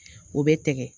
O bɛ tɛgɛ